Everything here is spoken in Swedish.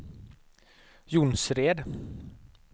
Jonsered